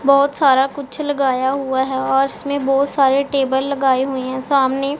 बहोत सारा कुछ लगाया हुआ है और इसमें बहोत सारे टेबल लगाए हुई हैं सामने--